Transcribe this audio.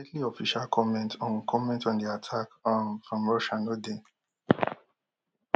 immediate official comment on comment on di attack um from russia no dey